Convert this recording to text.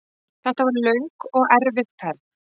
Þetta var löng og erfið ferð.